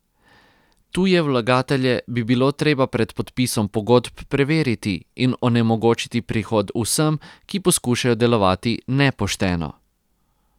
Tuje vlagatelje bi bilo treba pred podpisom pogodb preveriti in onemogočiti prihod vsem, ki poskušajo delovati nepošteno.